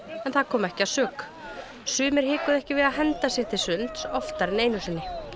en það kom ekki að sök sumir hikuðu ekki við að henda sér til sunds oftar en einu sinni